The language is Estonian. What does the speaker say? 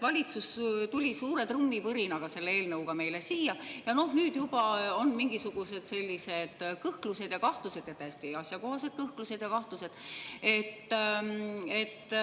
Valitsus tuli suure trummipõrinaga selle eelnõuga meile siia ja nüüd juba on mingisugused kõhklused ja kahtlused, kusjuures täiesti asjakohased kõhklused ja kahtlused.